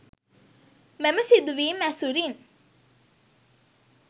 මෙම සිදුවීම් ඇසුරින්